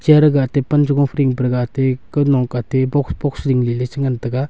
eya gate pan cha gok ding pe la gate kantong kate box box jing le le chan ngan taga.